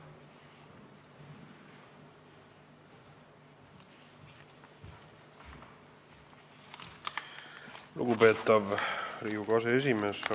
Lugupeetav Riigikogu aseesimees!